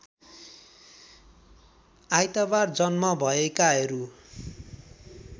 आइतबार जन्म भएकाहरू